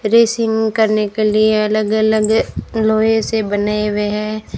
Racing करने के लिए अलग अलग लोहे से बने हुए हैं।